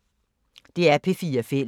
DR P4 Fælles